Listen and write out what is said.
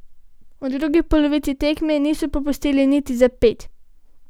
V drugi polovici tekme niso popustili niti za ped.